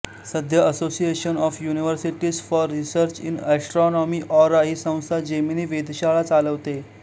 सध्या Association of Universities for Research in Astronomy AURA ही संस्था जेमिनी वेधशाळा चालवते